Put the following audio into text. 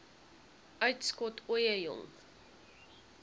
uitskot ooie jong